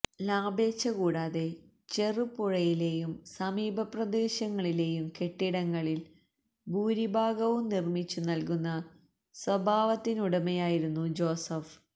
ലാഭേച്ഛ കൂടാതെ ചെറുപുഴയിലേയും സമീപ പ്രദേശങ്ങളിലേയും കെട്ടിടങ്ങളിൽ ഭൂരിഭാഗവും നിർമ്മിച്ചു നൽകുന്ന സ്വഭാവത്തിനുടമയായിരുന്നു ജോസഫ്